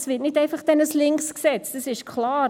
Es wird nicht einfach ein linkes Gesetz, das ist klar.